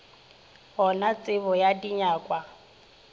go na tsebo ya dinyakwa